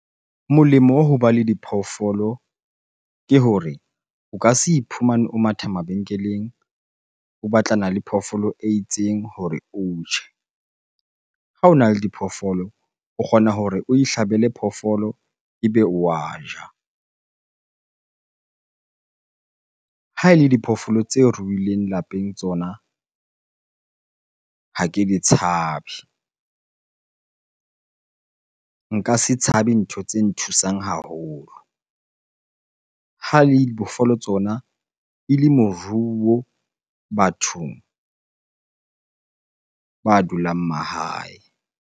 Molemo wa ho ba le diphoofolo ke hore o ka se iphumane o matha mabenkeleng o natlana le phoofolo e itseng hore o je. Ha ona le diphoofolo, o kgona hore o ihlabela phoofolo ebe wa ja eng. Ha e le diphoofolo tse ruhileng lapeng tsona ha ke di tshabe. Nka se tshabe ntho tse nthusang haholo. Ha ele diphoofolo tsona ele moruo bathong ba dulang mahae.